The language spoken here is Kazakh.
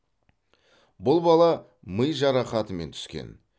бұл бала ми жарақатымен түскен